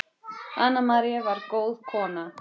Anna María var góð kona.